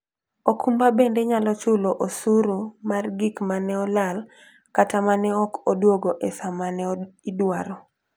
okumba bende nyalo chulo osuru mar gik ma ne olal kata ma ne ok odwogo e sa ma ne idwaro.